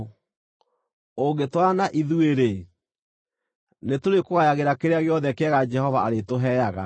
Ũngĩtwarana na ithuĩ-rĩ, nĩtũrĩkũgayagĩra kĩrĩa gĩothe kĩega Jehova arĩtũheaga.”